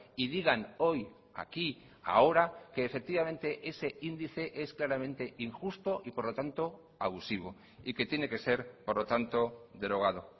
y digan hoy aquí ahora que efectivamente ese índice es claramente injusto y por lo tanto abusivo y que tiene que ser por lo tanto derogado